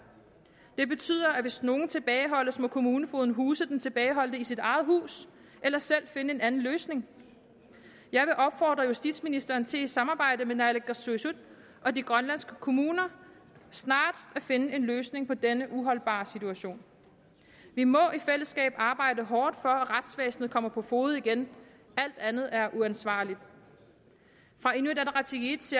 det betyder at hvis nogen tilbageholdes må kommunefogeden huse den tilbageholdte i sit eget hus eller selv finde en anden løsning jeg vil opfordre justitsministeren til i samarbejde med naalakkersuisut og de grønlandske kommuner snarest at finde en løsning på denne uholdbare situation vi må i fællesskab arbejde hårdt for at retsvæsenet kommer på fode igen alt andet er uansvarligt fra inuit ataqatigiits